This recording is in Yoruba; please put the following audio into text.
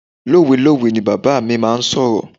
Lowelowe ni bàbá mi máa ń sọ̀rọ̀.